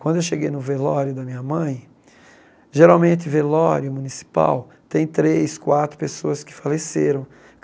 Quando eu cheguei no velório da minha mãe, geralmente velório municipal tem três, quatro pessoas que faleceram.